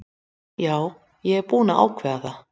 Já ég er búinn að ákveða það.